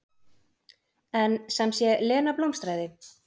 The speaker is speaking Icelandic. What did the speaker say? En sem sé, Lena blómstraði.